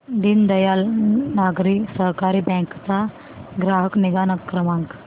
Deendayal Nagari Sahakari bank चा ग्राहक निगा क्रमांक